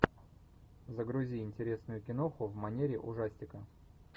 загрузи интересную киноху в манере ужастика